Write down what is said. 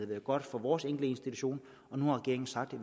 været godt for vores enkelte institution og nu har regeringen sagt at